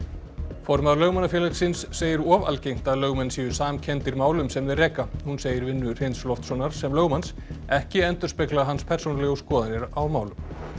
formaður Lögmannafélagsins segir of algengt að lögmenn séu samkenndir málum sem þeir reka hún segir vinnu Hreins Loftssonar sem lögmanns ekki endurspegla hans persónulegu skoðanir á málum